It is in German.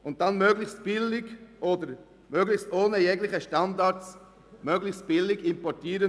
Und dann will man möglichst billig Produkte ohne Standards importieren.